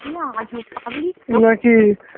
আজব পাবলিক তো